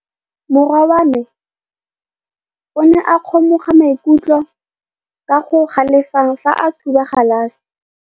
Morwa wa me o ne a kgomoga maikutlo ka go galefa fa a thuba galase.